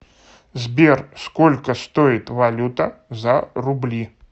сбер сколько стоит валюта за рубли